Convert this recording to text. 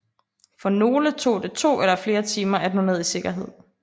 For nogle tog det to eller flere timer at nå ned i sikkerhed